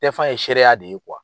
Tɛ fa ye seereya de ye .